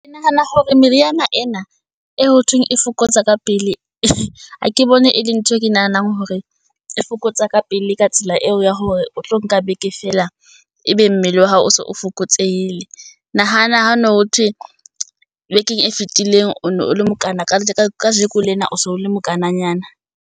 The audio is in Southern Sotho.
Ke nahana hore meriana ena e hothweng e fokotsa ka pele ha ke bone e le ntho e ke nahanang hore e fokotsa ka pele, ka tsela eo ya hore o tlo nka beke fela a ebe mmele wa hao o so o fokotsehile. Nahana ho no ho thwe bekeng e fetileng o ne o le mokana ka kajeko lena o so le mokana nyana.